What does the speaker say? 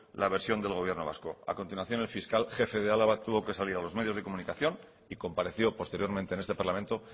la versión del gobierno vasco a continuación el fiscal jefe de álava tuvo que salir a los medios de comunicación y compareció posteriormente en este parlamento